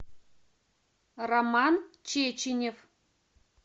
роман чеченев